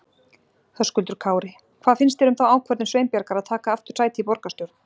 Höskuldur Kári: Hvað finnst þér um þá ákvörðum Sveinbjargar að taka aftur sæti í borgarstjórn?